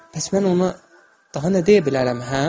Bəs mən ona daha nə deyə bilərəm, hə?